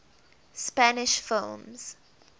spanish films